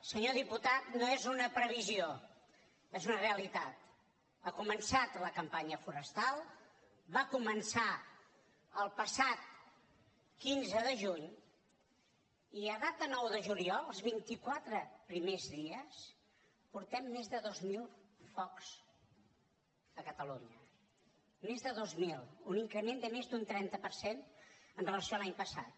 senyor diputat no és una previsió és una realitat ha començat la campanya forestal va començar el passat quinze de juny i a data nou de juliol els vint i quatre primers dies portem més de dos mil focs a catalunya més de dos mil un increment de més d’un trenta per cent amb relació a l’any passat